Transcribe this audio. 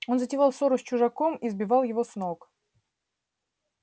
он затевал ссору с чужаком и сбивал его с ног